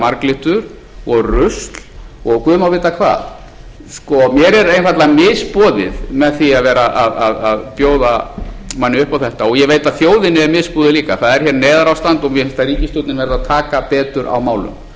marglyttur og rusl og guð má vita hvað sko mér er einfaldlega misboðið með því að vera að bjóða manni upp á þetta og ég veit að þjóðinni er misboðið líka það er hér neyðarástand og mér finnst að ríkisstjórnin verði að taka betur á málum það vantar